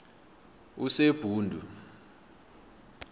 usebhundu